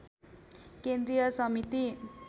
केन्द्रीय समिति